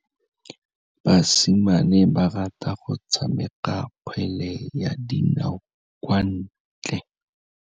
Basimane ba rata go tshameka kgwele ya dinaô kwa ntle.